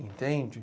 Entende?